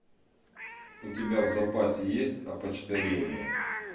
у тебя в запасе есть опочтарение